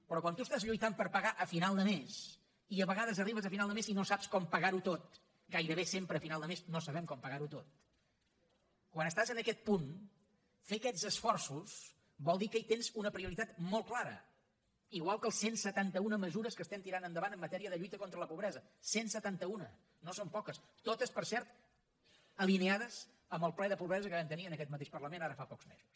però quan tu estàs lluitant per pagar a final de mes i a vegades arribes a final de mes i no saps com pagar ho tot gairebé sempre a final de mes no sabem com pagar ho tot quan estàs en aquest punt fer aquests esforços vol dir que hi tens una prioritat molt clara igual que les cent i setanta un mesures que estem tirant endavant en matèria de lluita contra la pobresa cent i setanta un no són poques totes per cert alineades amb el ple de pobresa que vam tenir en aquest mateix parlament ara fa pocs mesos